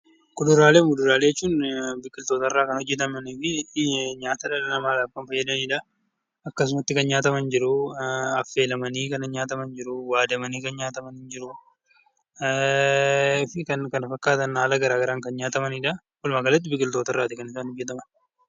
Kuduraaleef muduraalee jechuun biqiltootarraa kan hojjetamaniifi nyaata dhala namaadhaf kan fayyadanidhaa. Akkasumatti kan nyaataman jiruu, affeelamanii kan nyaataman jiruu, waadamanii kan nyaataman jiruu fi kan kana fakkaatan haala gara garaan kan nyaatamanidhaa. Walumaa galatti biqiltoota irraati kan isaan hojjeteman.